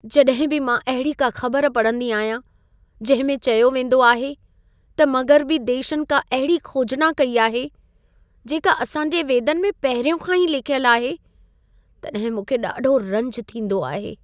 जॾहिं बि मां अहिड़ी का ख़बर पढ़ंदी आहियां, जंहिं में चयो वेंदो आहे, त मग़रबी देशनि का अहिड़ी खोजना कई आहे, जेका असां जे वेदनि में पहिरियों खां ई लिखियल आहे, तॾहिं मूंखे ॾाढो रंज थींदो आहे।